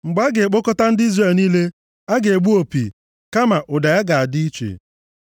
Mgbe a ga-akpọkọta ndị Izrel niile a ga-egbu opi, kama ụda ya ga-adị iche.